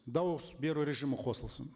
дауыс беру режимі қосылсын